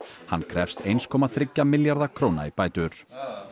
hann krefst eins komma þriggja milljarða króna í bætur